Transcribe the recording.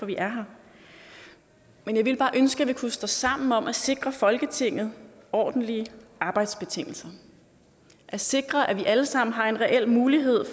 vi er her men jeg ville bare ønske at vi kunne stå sammen om at sikre folketinget ordentlige arbejdsbetingelser at sikre at vi alle sammen har en reel mulighed